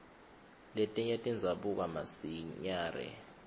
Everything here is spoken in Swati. letinye tidzabuka masinyare